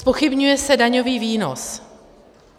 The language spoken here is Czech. Zpochybňuje se daňový výnos.